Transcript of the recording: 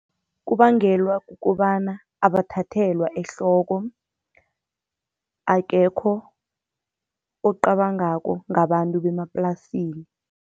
Kubangelwa kukobana abathathelwa ehloko, akekho ocabangako ngabantu bemaplasini.